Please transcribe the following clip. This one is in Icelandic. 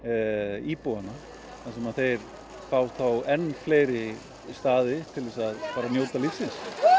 íbúana þar sem þeir fá enn fleiri staði til að njóta lífsins